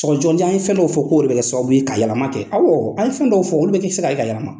Sɔgɔsɔgɔnijɛ, an ye fɛn dɔw o fɔ k'o de bɛ kɛ sababu ka yɛlɛma kɛ. Awɔ an ye fɛn dɔw fɔ olu bɛ kɛ se ka yɛlɛma.